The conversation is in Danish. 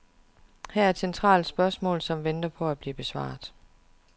Her er et centralt spørgsmål, som venter på at blive besvaret.